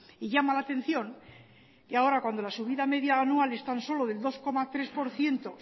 y llama la atención que ahora cuando la subida media anual es tan solo del dos coma tres por ciento